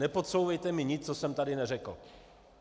Nepodsouvejte mi nic, co jsem tady neřekl.